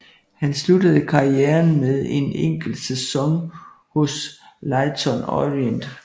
Han sluttede karrieren med en enkelt sæson hos Leyton Orient